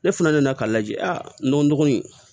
Ne fana nana k'a lajɛ a n'o dɔgɔnin